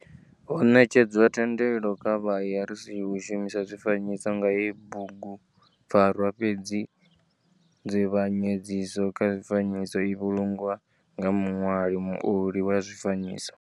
Ho netshedzwa thendelo kha vha ARC u shumisa zwifanyiso kha heyi bugupfarwa fhedzi nzivhanyedziso kha zwifanyiso i vhulungwa nga muṋwali muoli wa zwifanyiso.